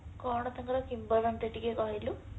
କଣ ତାଙ୍କର କିମ୍ବଦନ୍ତୀ ଟିକେ କହିଲୁ